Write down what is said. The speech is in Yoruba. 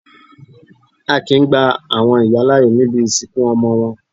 A kìí gba àwọn ìyá láàyè níbi ìsìnkú ọmọ wọn.